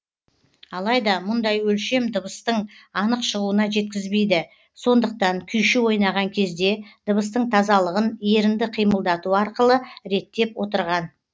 алайда мұндай өлшем дыбыстын анық шығуына жеткізбейді сондықтан күйші ойнаған кезде дыбыстың тазалығын ерінді қимылдату арқылы реттеп отырған